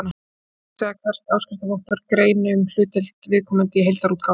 Hér er átt við að hvert áskriftarvottorð greini um hlutdeild viðkomandi í heildarútgáfunni.